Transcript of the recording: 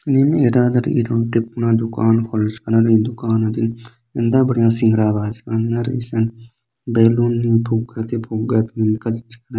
नीम एरादा रई दुकान खोलाचका रई एतना --